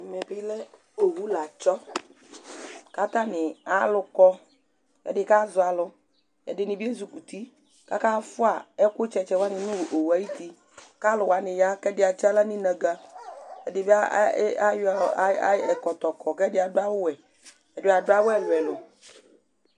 ɛmẹbilɛ ọwũ lɑtsõ kɑtạɲi ãlũkɔ éɗikɑzʊɑlω éɗɲibiɛzʊkuti kɑkãfụɑ ékωtsɛtsɛ ɲʊ ọwʊɛ ɑyʊti kɑlʊwɑɲiyɑ éɗi ɑtsiɑhlɑ ɲiɲɑgă éɗibiɑyọ ɛkɔtọkɔ ɛɗiɑɗʊɑwʊwʊɛ éɗiɗʊɑwũ éluɛlu